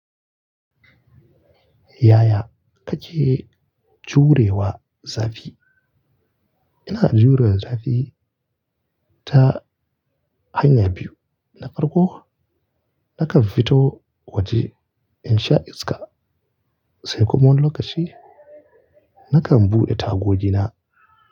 Yaya kake jurewa zafi? Ina jure zafi ta hanya biyu. Na farko, nakan fito waje in sha iska. Sai kuma wani lokaci, nakan buɗe tagogi na.